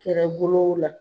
Kɛrɛbolow la